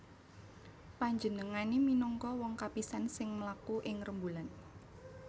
Panjenengané minangka wong kapisan sing mlaku ing rembulan